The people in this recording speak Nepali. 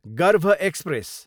गर्भ एक्सप्रेस